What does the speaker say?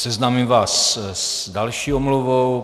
Seznámím vás s další omluvou.